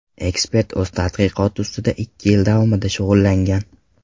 Ekspert o‘z tadqiqoti ustida ikki yil davomida shug‘ullangan.